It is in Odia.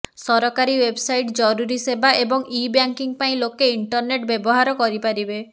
ସରକାରୀ ୱେବ୍ସାଇଟ୍ ଜରୁରୀ ସେବା ଏବଂ ଇ ବ୍ୟାଙ୍କିଂ ପାଇଁ ଲୋକେ ଇଣ୍ଟରନେଟ୍ ବ୍ୟବହାର କରିପାରିବେ